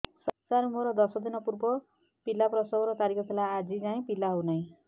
ସାର ମୋର ଦଶ ଦିନ ପୂର୍ବ ପିଲା ପ୍ରସଵ ର ତାରିଖ ଥିଲା ଆଜି ଯାଇଁ ପିଲା ହଉ ନାହିଁ